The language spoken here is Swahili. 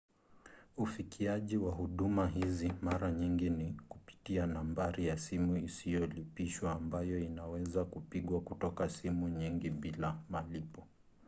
ufikiaji wa huduma hizi mara nyingi ni kupitia nambari ya simu isiyolipishwa ambayo inaweza kupigwa kutoka simu nyingi bila malipo